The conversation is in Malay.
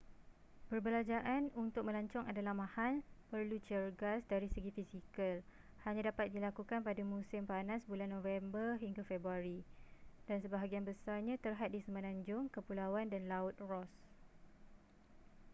perbelanjaan untuk melancong adalah mahal perlu cergas dari segi fizikal hanya dapat dilakukan pada musim panas bulan november-februari dan sebahagian besarnya terhad di semenanjung kepulauan dan laut ross